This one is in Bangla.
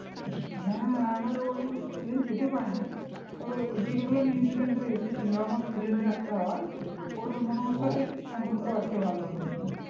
হ্যাঁ আমার ওই সেদিন যেতে পারিনি যেগুলো নিউজিল্যান্ড এর এসেছিলো আমার friend এর একটা হয় ওর মানে ওর সাথে সম্পর্ক আছে ভালো ওদের